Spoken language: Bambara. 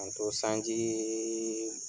K'an to sanji